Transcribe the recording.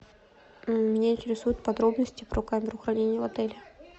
меня интересуют подробности про камеру хранения в отеле